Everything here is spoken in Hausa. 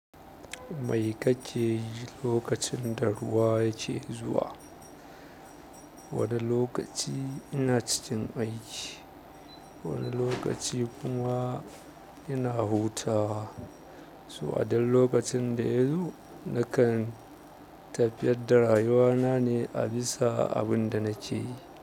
Mai kake yi lokacin da ruwa yake zuwa? Wani lokaci ina cikin aiki, wani lokaci kuma ina hutawa. So a duk lokacin da ya zo nakan tafiyar da rayuwa na ne a bisa abin da nake yi.